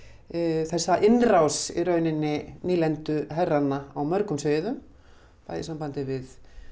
þessa innrás í rauninni nýlenduherranna á mörgum sviðum bæði í sambandi við